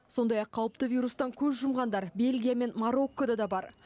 сондай ақ қауіпті вирустан көз жұмғандар бельгия мен мароккода да бар